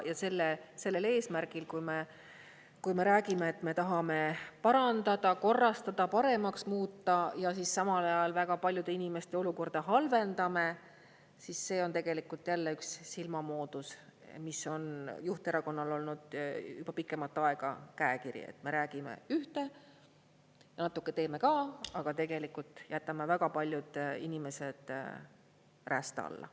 Ja sellel eesmärgil, kui me räägime, et me tahame parandada, korrastada, paremaks muuta, ja samal ajal väga paljude inimeste olukorda halvendame, siis see on jälle üks silmamoondus, mis on juhterakonnal olnud juba pikemat aega käekiri, et me räägime ühte, natuke teeme ka, aga tegelikult jätame väga paljud inimesed räästa alla.